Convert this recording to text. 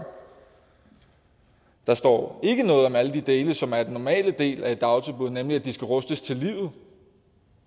der står ikke noget om alle de dele som er normale dele af et dagtilbud nemlig at de skal rustes til livet